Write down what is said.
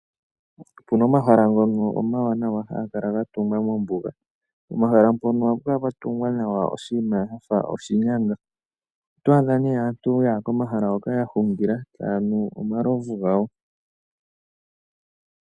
Opuna omahala ngono omawanawa haga kala ga tungwa mombuga, pomahala mpono ohapu kala patungwa nawa oshinima shafa oshinyanga, oto adha nee aantu yaya komahala hono ya hungila taya nu omalovu gawo.